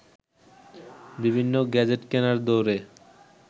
বিভিন্ন গ্যাজেট কেনার দৌড়ে